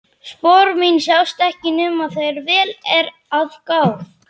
Spor mín sjást ekki nema þegar vel er að gáð.